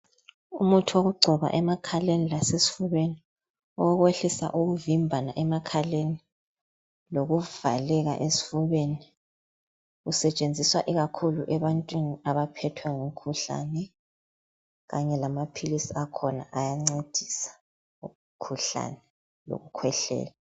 Umuthi wokugcoba emakhaleni lasesifubeni owokwehlisa ukuvimbana emakhaleni loluvakeka esifubeni usetshenziswa ikhakhulu ebantwini abaphethwe ngumkhuhlane kanye lamaphilisi akhona ayancedisa umkhuhlane wokukhwehlela